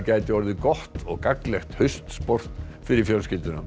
gæti orðið gott og gagnlegt haustsport fyrir fjölskylduna